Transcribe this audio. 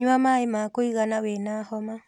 Nyua maĩi ma kũigana wĩna homa